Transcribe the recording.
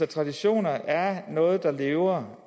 traditioner er noget der lever